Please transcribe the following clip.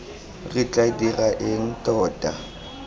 re tla dira eng tota